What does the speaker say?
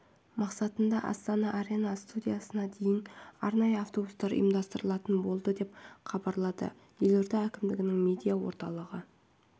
мақсатында астана арена стадионына дейін арнайы автобустар ұйымдастырылатын болады деп хабарлады елорда әкімдігінің медиа орталығы